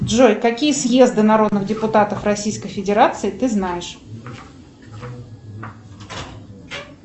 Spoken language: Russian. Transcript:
джой какие съезды народных депутатов российской федерации ты знаешь